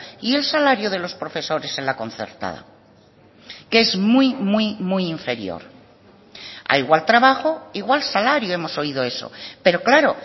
y el salario de los profesores en la concertada que es muy muy muy inferior a igual trabajo igual salario hemos oído eso pero claro